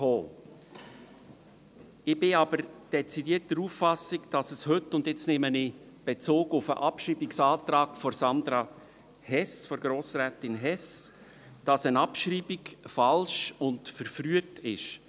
Ich bin aber dezidiert der Auffassung, dass eine Abschreibung heute – jetzt nehme ich Bezug auf den Abschreibungsantrag von Grossrätin Hess – falsch und verfrüht ist.